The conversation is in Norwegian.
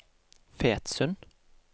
Fetsund